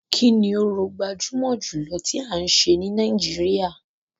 Kini orò gbajúmọ̀ jùlọ tí a ń ṣe ní Nàìjíríà.